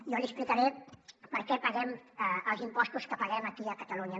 jo li explicaré per què paguem els impostos que paguem aquí a catalunya